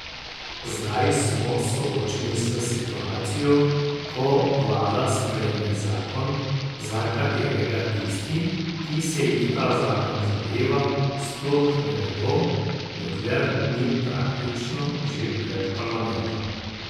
Zdaj smo soočeni s situacijo, ko vlada sprejme zakon, za katerega tisti, ki se jih ta zakon zadeva, sploh ne vedo, dokler ni praktično že pred parlamentom.